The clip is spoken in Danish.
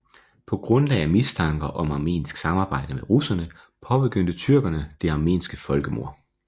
På grundlag af mistanker om armensk samarbejde med russerne påbegyndte tyrkerne det armenske folkemord